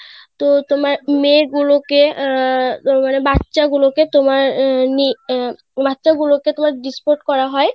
তো তোমার মেয়ে গুলোকে আহ মানে বাচ্চা গুলো কে তোমার আহ বাচ্চা গুলোকে তোমার Disport করা হয়.